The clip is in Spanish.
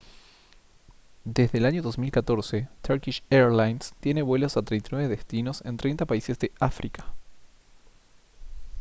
desde el año 2014 turkish airlines tiene vuelos a 39 destinos en 30 países de áfrica